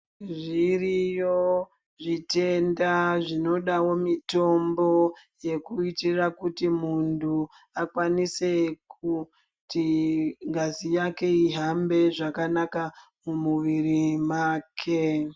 Zviriyo zvitenda zvinodavo mitombo. Dzekuitira kuti muntu akwanise kuti ngazi yake ihambe zvakanaka mumuviri make.